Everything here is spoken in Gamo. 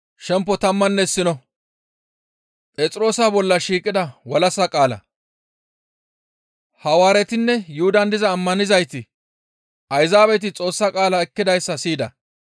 Hawaaretinne Yuhudan diza ammanizayti Ayzaabeti Xoossa qaala ekkidayssa siyida.